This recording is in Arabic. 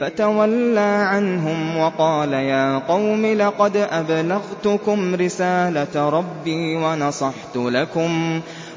فَتَوَلَّىٰ عَنْهُمْ وَقَالَ يَا قَوْمِ لَقَدْ أَبْلَغْتُكُمْ رِسَالَةَ رَبِّي